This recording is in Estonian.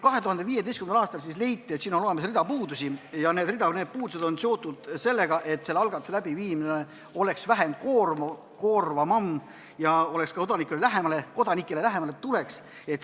2015. aastal aga leiti, et seal on hulk puudusi ja need on seotud sellega, et selle algatuse läbiviimine peaks olema vähem koormav ja see peaks tulema ka kodanikele lähemale.